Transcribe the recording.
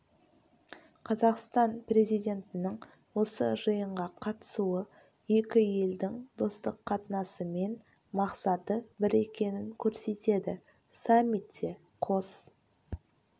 қазақстан президентінің осы жиынға қатысуы екі елдің достық қатынасы мен мақсаты бір екенін көрсетеді саммитте қос